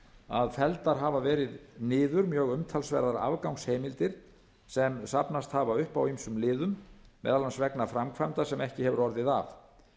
að felldar hafa verið niður mjög umtalsverðar afgangsheimildir sem safnast hafa upp á ýmsum liðum meðal annars vegna framkvæmda sem ekki hefur orðið af